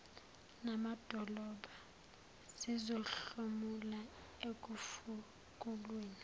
namadolobha zizohlomula ekufukulweni